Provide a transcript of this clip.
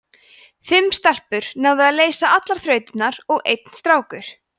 fimm stelpur náðu að leysa allar þrautirnar og einn strákur